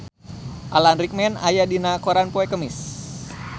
Alan Rickman aya dina koran poe Kemis